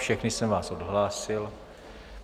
Všechny jsem vás odhlásil.